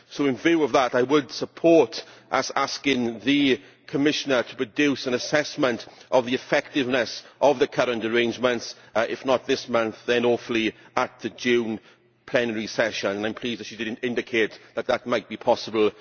So in view of that I would support us asking the Commissioner to produce an assessment of the effectiveness of the current arrangements, if not this month then hopefully at the June plenary session, and I am pleased that she did indicate in her contribution that that might be possible.